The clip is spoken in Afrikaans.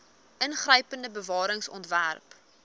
ingrypende bewaring ontwerp